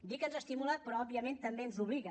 dic que ens estimula però òbviament també ens obliga